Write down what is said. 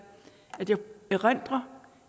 at jeg erindrer